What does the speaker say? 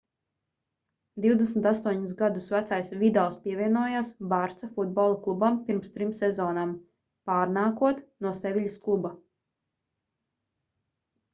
28 gadus vecais vidals pievienojās barça futbola klubam pirms trim sezonām pārnākot no seviļas kluba